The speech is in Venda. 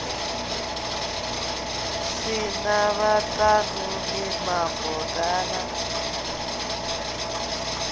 si na vhaṱanuni mavoḓa na